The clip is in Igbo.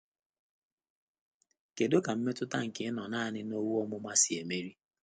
Kedu ka mmetụta nke ịnọ naanị na owu ọmụma si emeri?